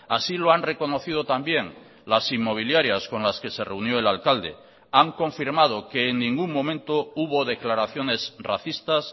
así lo han reconocido también las inmobiliarias con las que se reunió el alcalde han confirmado que en ningún momento hubo declaraciones racistas